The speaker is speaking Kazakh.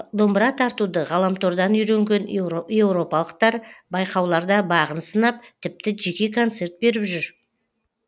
домбыра тартуды ғаламтордан үйренген еуропалықтар байқауларда бағын сынап тіпті жеке концерт беріп жүр